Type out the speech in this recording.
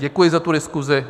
Děkuji za tu diskusi.